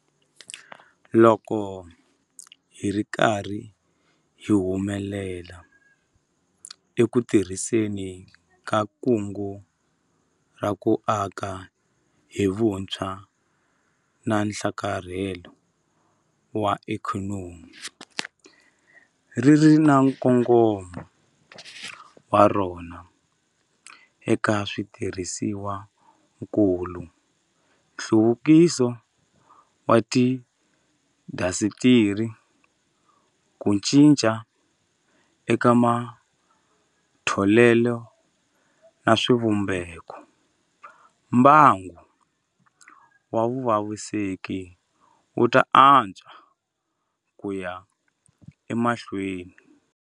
Loko hi ri karhi hi humelela eku tirhiseni ka Kungu ra ku Aka hi Vutshwa na Nhlakarhelo wa Ikhonomi - ri ri na nkongomo wa rona eka switirhisiwakulu, nhluvukiso wa tiindasitiri, ku cinca eka matholelo na swivumbeko - mbangu wa vuvekisi wu ta antswa ku ya emahlweni.